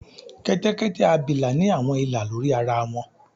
kẹtẹkẹtẹ abila ni awọn ila lori ara wọn.